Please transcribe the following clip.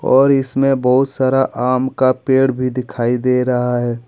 और इसमें बहुत सारा आम का पेड़ भी दिखाई दे रहा है।